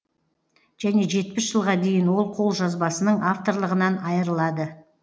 және жетпіс жылға дейін ол қолжазбасының авторлығынан айырылады